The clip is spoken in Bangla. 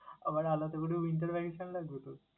আবার আলাদা করেও winter vacation ও লাগবে তোর?